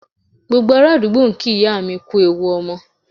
Gbogbo ará àdúgbò ń kí ìyá mi kú ewu ọmọ